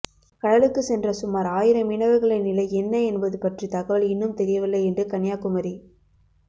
கடலுக்கு சென்ற சுமார் ஆயிரம் மீனவர்களின் நிலை என்ன என்பது பற்றி தகவல் இன்னும் தெரியவில்லை என்று கன்னியாகுமரி